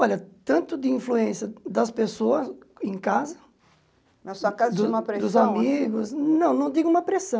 Olha, tanto de influência das pessoas em casa, dos Na sua casa uma pressão Dos amigos... Não, não digo uma pressão.